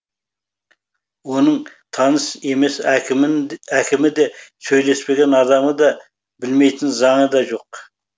оның таныс емес әкімі де сөйлеспеген адамы да білмейтін заңы да жоқ